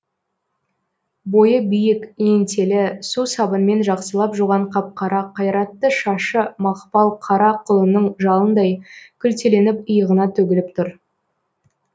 бойы биік еңселі су сабынмен жақсылап жуған қап қара қайратты шашы мақпал қара құлынның жалындай күлтеленіп иығына төгіліп тұр